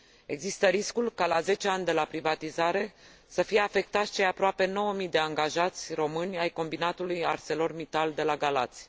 Există riscul ca la 10 ani de la privatizare să fie afectați cei aproape 9000 de angajați români ai combinatului Arcelor Mittal de la Galați.